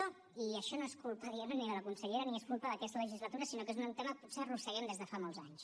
i això no és culpa diguem ne ni de la consellera ni és culpa d’aquesta legislatura sinó que és un tema que potser arrosseguem des de fa molts anys